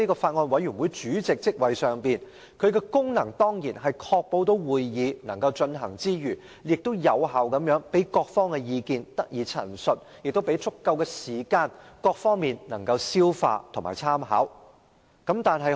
法案委員會主席的功能，是要確保會議能夠進行之餘，亦要有效地讓各方意見得以陳述，並給予各方足夠時間消化和參考相關資料。